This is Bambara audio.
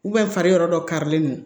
fariyɔrɔ dɔ karilen do